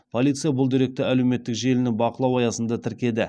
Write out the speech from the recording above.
полиция бұл деректі әлеуметтік желіні бақылау аясында тіркеді